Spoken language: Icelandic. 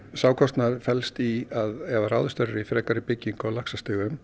sá kostnaður felst í að ef að ráðist verður í byggingu á laxastigum